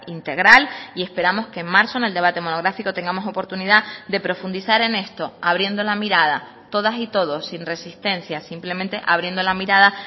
integral y esperamos que en marzo en el debate monográfico tengamos oportunidad de profundizar en esto abriendo la mirada todas y todos sin resistencia simplemente abriendo la mirada